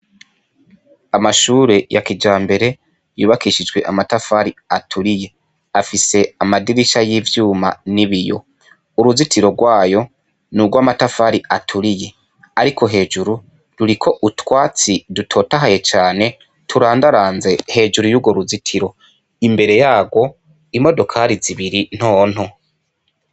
Amashure ya kija mbere yubakishijwe amatafari aturiye afise amadirisha y'ivyuma n'i biyo uruzitiro rwayo ni urwo amatafari aturiye, ariko hejuru duri ko utwatsi dutotahaye cane turandaranze hejuru y'uwo ruzitiro imbere yayo ago imodokari zibiri ntonto.